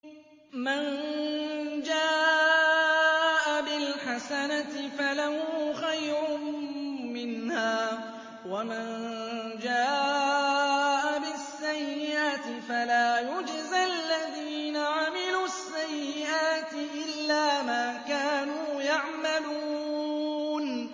مَن جَاءَ بِالْحَسَنَةِ فَلَهُ خَيْرٌ مِّنْهَا ۖ وَمَن جَاءَ بِالسَّيِّئَةِ فَلَا يُجْزَى الَّذِينَ عَمِلُوا السَّيِّئَاتِ إِلَّا مَا كَانُوا يَعْمَلُونَ